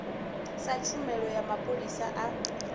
sa tshumelo ya mapholisa a